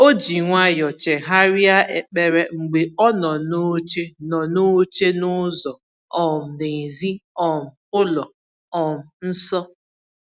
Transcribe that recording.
O ji nwayọ chegharịa ekpere mgbe ọ nọ n’oche nọ n’oche n’ụzọ um n’èzí um ụlọ um nsọ.